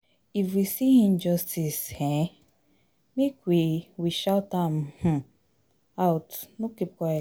If we see injustice um, make we we shout am um out, no keep quiet.